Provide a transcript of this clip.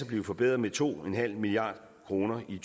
blive forbedret med to milliard kroner i